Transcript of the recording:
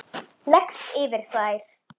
Leggst yfir þær.